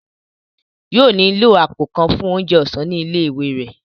Yóò nílò àpò kan fún oúnjẹ ọ̀sán ní ilé ìwé rẹ̀